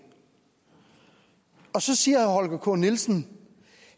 og så siger herre holger k nielsen